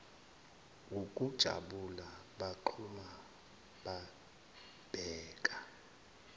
wukujabula bagxuma babheka